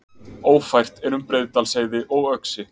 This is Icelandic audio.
Ófært er um Breiðdalsheiði og Öxi